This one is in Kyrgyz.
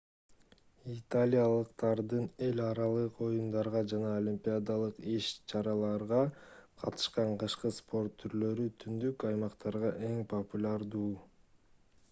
италиялыктардын эл аралык оюндарга жана олимпиадалык иш-чараларга катышкан кышкы спорт түрлөрү түндүк аймактарда эң популярдуу